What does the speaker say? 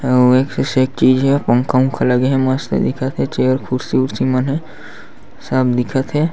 अउ एक से सेक चीज़ हे पंखा उनखा लगे हे मस्त दिखत हे चेयर कुर्सी उर्सी मन ह सब दिखत हे।